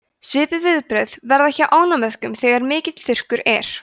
svipuð viðbrögð verða hjá ánamöðkum þegar miklir þurrkar eru